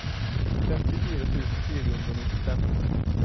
femtifire tusen fire hundre og nittifem